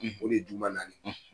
O de ye juma naani,